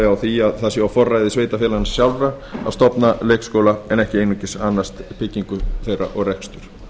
á að það sé á forræði sveitarfélaganna sjálfra að stofna leikskóla en ekki einungis að annast byggingu þeirra og rekstur